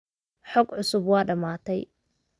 Xog cusub waa dhamaatay